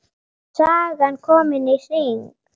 Sagan komin í hring.